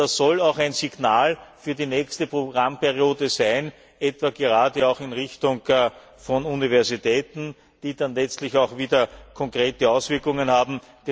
Das soll auch ein Signal für die nächste Programmperiode sein, etwa in Richtung von Universitäten, die dann letztlich auch wieder konkrete Auswirkungen haben.